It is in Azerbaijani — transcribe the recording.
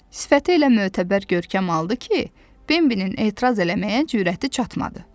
Sifəti elə mötəbər görkəm aldı ki, Bembnin etiraz eləməyə cürəti çatmadı.